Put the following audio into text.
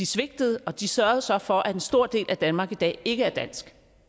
svigtede og de sørgede så for at en stor del af danmark i dag ikke er dansk